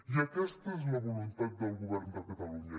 i aquesta és la voluntat del govern de catalunya